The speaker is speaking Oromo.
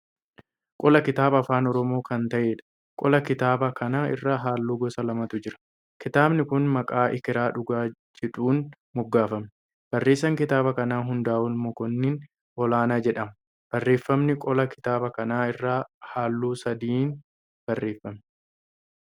Qola kitaaba afaan Oromoo kan ta'eedha. Qola kitaabaa kana irra halluu gosa lamatu jira. Kitaabni kun maqaa Ekeraa Dhugaa jedhuun moggaafame. Barreessaan kitaaba kanaa Hundaa'ol Mokonnin Olaanaa jedhama. Barreeffamni qola kitaabaa kana irraa halluu sadiin barreeffame.